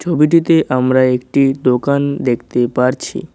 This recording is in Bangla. ছবিটিতে আমরা একটি দোকান দেখতে পারছি।